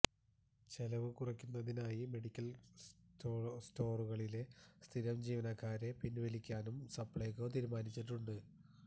ചെലവു കുറയ്ക്കുന്നതിനായി മെഡിക്കല് സ്റ്റോറുകളിലെ സ്ഥിരം ജീവനക്കാരെ പിന്വലിക്കാനും സപ്ലൈകോ തീരുമാനിച്ചിട്ടുണ്ട്